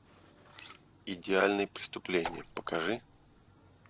идеальное преступление покажи